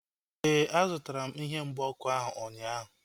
Éè, a zụtara m ihe mgba ọkụ ahu ụnyaahụ